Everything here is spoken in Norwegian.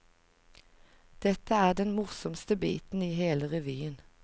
Dette er den morsomste biten i hele revyen.